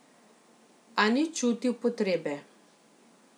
A ni čutil potrebe.